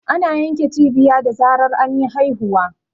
Ana yanke cibiya da zarar anyi haihuwa.